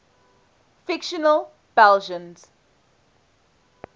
fictional belgians